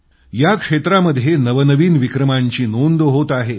या क्षेत्रामध्ये नवनवीन विक्रमांची नोंद होत आहे